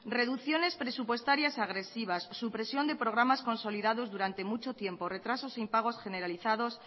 reducciones presupuestarias agresivas supresión de programas consolidados durante mucho tiempo retrasos e impagos generalizados